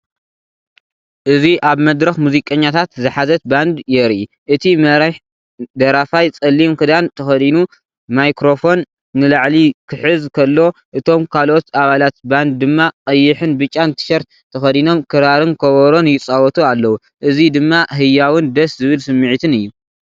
እዚ ኣብ መድረኽ ሙዚቀኛታት ዝሓዘት ባንድ የርኢ። እቲ መሪሕ ደራፋይ ጸሊም ክዳን ተኸዲኑ ማይክሮፎን ንላዕሊ ክሕዝ ከሎ እቶም ካልኦት ኣባላት ባንድ ድማ ቀይሕን ብጫን ቲሸርት ተኸዲኖም ክራርን ከበሮን ይጻወቱ ኣለዉ። እዚ ድማ ህያውን ደስ ዝብል ስምዒትን እዩ።